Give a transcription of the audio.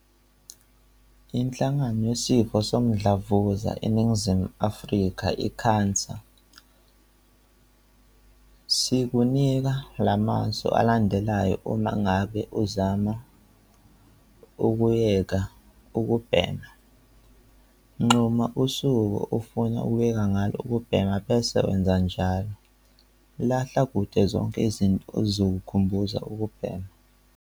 INhlangano Yesifo Somdlavuza eNingizimu Afrika, i-CANSA, sikunika lamasu alandelayo uma ngabe uzama ukuyeka ukubhema - Nquma usuku ofuna ukuyeka ngalo ukubhema bese wenza kanjalo. Lahla kude zonke izinto ezikukhumbuza ukubhema.